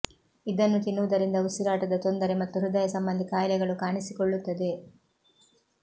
ಇದನ್ನು ತಿನ್ನುವುದರಿಂದ ಉಸಿರಾಟದ ತೊಂದರೆ ಮತ್ತು ಹೃದಯ ಸಂಬಂಧಿ ಕಾಯಿಲೆಗಳು ಕಾಣಿಸಿಕೊಳ್ಳುತ್ತದೆ